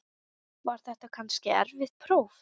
Var þetta kannski erfitt próf?